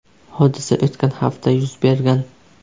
Hodisa o‘tgan hafta yuz bergan.